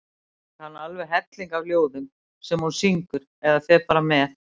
Hún kann alveg helling af ljóðum sem hún syngur eða fer með.